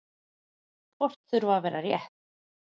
Kort þurfa að vera rétt.